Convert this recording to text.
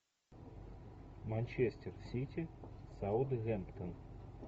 манчестер сити саутгемптон